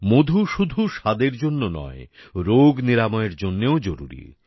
মধু শুধু স্বাদের জন্য নয় রোগ নিরাময়ের জন্যও জরুরি